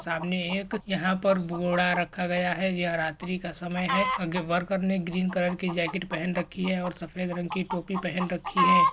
सामने एक यहां पर बोरा रखा गया है यह रात्रि का समय है आगे वर्कर ने ग्रीन कलर की जैकेट पहन रखी है और सफेद रंग की टोपी पहन रखी है।